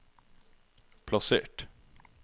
plassert